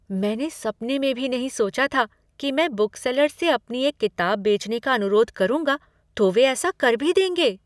मैंने सपने में भी नहीं सोचा था कि मैं बुकसेलर से अपनी एक किताब बेचने का अनुरोध करूँगा तो वे ऐसा कर भी देंगे!